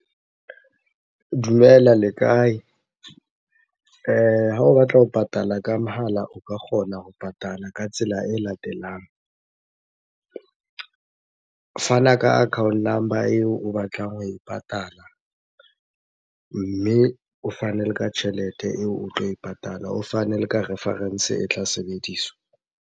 Dumela le kae? Ha o batla ho patala ka mohala, o ka kgona ho patala ka tsela e latelang. Fana ka account number eo o batlang ho e patala, mme o fane le ka tjhelete eo o tlo e patala, o fane le ka reference e tla sebediswa.